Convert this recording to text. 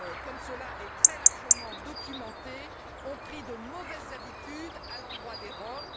comme cela est très largement documenté, ont pris de mauvaises habitudes à l'endroit des Roms.